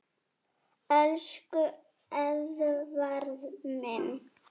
Elsku Eðvarð minn.